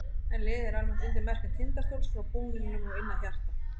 En liðið er almennt undir merkjum Tindastóls frá búningnum og inn að hjarta.